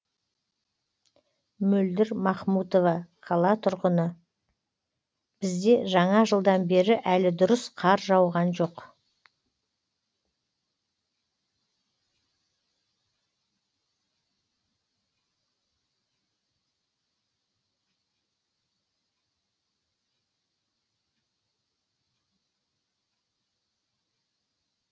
мөлдір махмұтова қала тұрғыны бізде жаңа жылдан бері әлі дұрыс қар жауған жоқ